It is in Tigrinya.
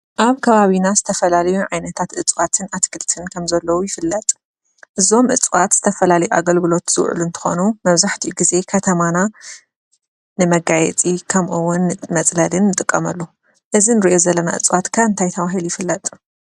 ኣብ ከባቢና ዝተፈላለዩ ዓነታት እፅዋትን ኣትክልትን ከም ዘለዉ ይፍልጥ፡፡ እዞም እፅዋት ዝተፈላለዩ ኣገልግሎት ዝውዕሉ እንትኾኑ መብዛሕትኡ ግዜ ከተማና ንመጋየፂ ከምኡ እውን ንመፅለሊ ንጥቀመሉ፡፡ እዚ እንተሪኦ ዘለና እፅዋት ከ እንታይ ተባሂሉ ይፍለጥ?